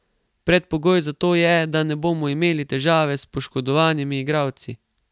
Predpogoj za to je, da ne bomo imeli težave s poškodovanimi igralci.